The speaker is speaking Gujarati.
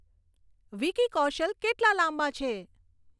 વિકી કૌશલ કેટલા લાંબા છે